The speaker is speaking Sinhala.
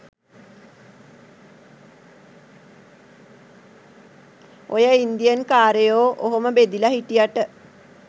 ඔය ඉන්දියන්කාරයෝ ඔහොම බෙදිලා හිටියට